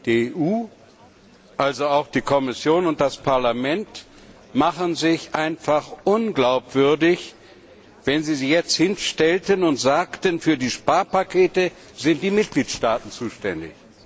Die EU, also auch die Kommission und das Parlament, würden sich einfach unglaubwürdig machen, wenn sie sich jetzt hinstellten und sagten, für die Sparpakete sind die Mitgliedstaaten zuständig.